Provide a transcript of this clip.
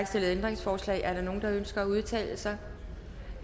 stillet ændringsforslag er der nogen der ønsker at udtale sig